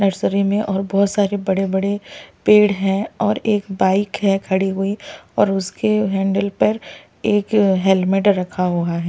उस नर्सरी में और बहुत सारी बड़े बड़े पेड़ है और एक बाइक है खड़ी हुई और उसकी हैंडल पर एक हेलमेट रखा हुआ है।